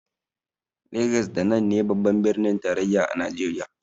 Legas da nan ne babban birnin tarayyar Najeriya.